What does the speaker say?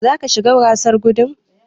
Zaka shiga gasar gudun?